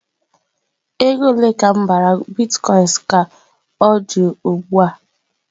Ego ole ka m bara Bitkoinsị ka ọ dị ugbu a?